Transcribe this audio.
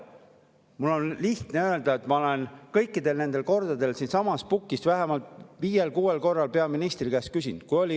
Mul on lihtne öelda, et ma olen kõikidel nendel kordadel siitsamast pukist vähemalt viiel-kuuel korral peaministri käest selle kohta küsinud.